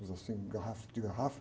Óculos assim, garrafa, de garrafa.